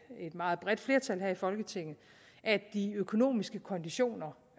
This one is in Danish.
et meget bredt flertal her i folketinget at de økonomiske konditioner